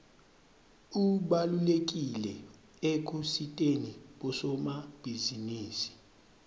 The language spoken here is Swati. ubalulekile ekusiteni bosomabhizinisi